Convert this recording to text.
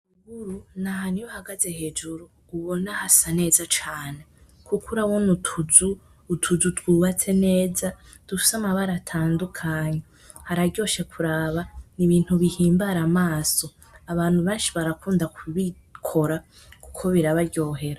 Ruguru n’ahantu iyo uhagaze hejuru ubona hasa neza cane kuko urabona utuzu, utuzu twubatse neza dufise amabara atandukanye hararyoshe kuraba n’ibintu bihimbara amaso abantu benshi barakunda kubikora kuko birabaryohera.